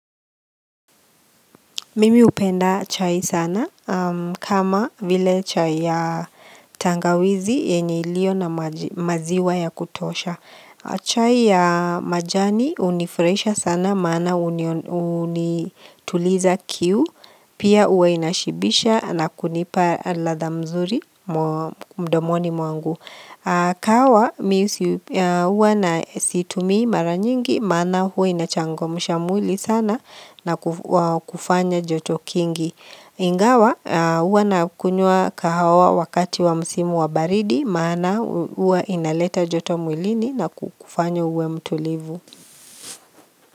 Mimi hupenda chai sana kama vile chai ya tangawizi yenye ilio na maziwa ya kutosha. Chai ya majani unifrahisha sana maana unituliza kiu. Pia uwa inashibisha na kunipa ladha mzuri mdomoni mwangu. Kahawa, huwa na siitumi maranyingi, maana huwa inachango mshamwili sana na kufanya joto kingi Ingawa, huwa na kunywa kahawa wakati wa msimu wa baridi, maana huwa inaleta joto mwilini na kukufanya uwe mtulivu.